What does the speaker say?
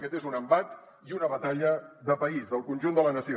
aquest és un embat i una batalla de país del conjunt de la nació